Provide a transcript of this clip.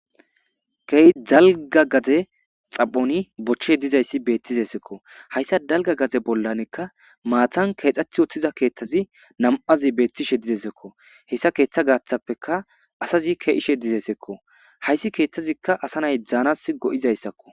Keey dalga gaze xaphoni bochche dizayssi beettizesekko hayssa dalga gaze bollanekka maatan keexath ottiza keeththazi nam7azi beettishe didesekko hessa keeththa gaaththappeka asazi keishe dizesekko hayssi keeththazikka asa nay dzaanas go7izayssakko.